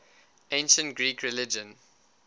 ancient greek religion